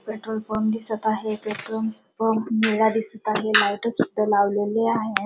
Petrol pump दिसत आहे petrol pump निळा दिसत आहे लाइट सुद्धा लावलेली आहे.